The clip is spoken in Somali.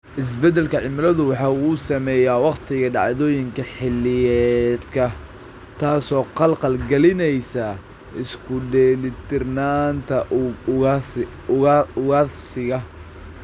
Isbeddelka cimiladu waxa uu saameeyaa wakhtiga dhacdooyinka xilliyeedka, taas oo khalkhal galinaysa isku dheelitirnaanta ugaadhsiga .